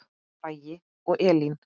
Bragi og Elín.